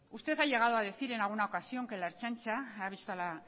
usted ha llegado a decir en alguna ocasión que ha visto a la